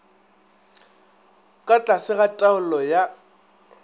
ka tlase ga taolo ya